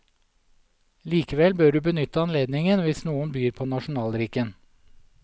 Likevel bør du benytte anledningen hvis noen byr på nasjonaldrikken.